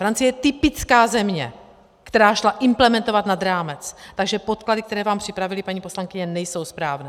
Francie je typická země, která šla implementovat nad rámec, takže podklady, které vám připravili, paní poslankyně, nejsou správné.